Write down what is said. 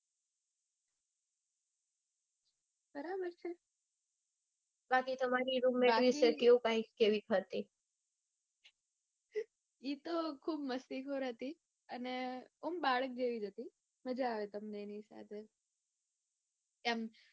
બાકી તો એતો ખુબ મસ્તીખોર હતી. અને આમ બાળક જેવી હતી. મજા આવે એની સાથે. કે આમ